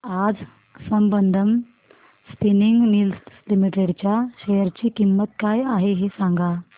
आज Sambandam spinning mills limited च्या share ची किंमत काय आहे हे सांगा